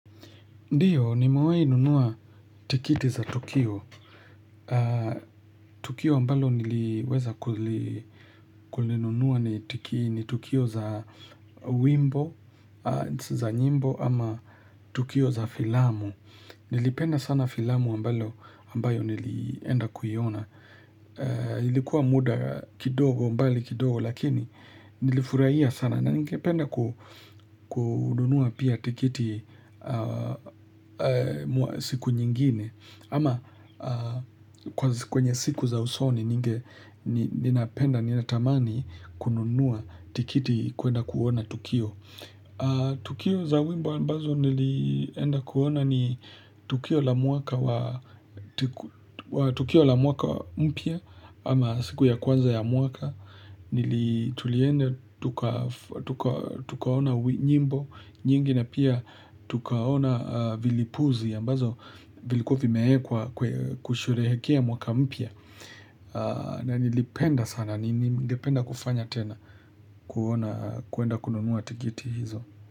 Ndiyo, nimewai nunua tikiti za Tukio. Tukio ambalo niliweza kulinunua ni Tukio za wimbo, za nyimbo ama Tukio za filamu. Nilipenda sana filamu ambalo ambayo nilienda kuiona. Ilikuwa muda kidogo mbali kidogo lakini nilifurahia sana. Na ningependa kununua pia tikiti siku nyingine Ama kwenye siku za usoni ninge nina penda nina tamani kununua tikiti kuenda kuona Tukio Tukio za wimbo ambazo nilienda kuona ni tukio la mwaka wa Tukio la mwaka mpya Ama siku ya kwanza ya mwaka Nili tuliende tukaona nyimbo nyingi na pia tukaona vilipuzi ambavyo vilikuwa vimeekwa kushurehekea mwaka mpya na nilipenda sana Ningependa kufanya tena kuwenda kununua tikiti hizo.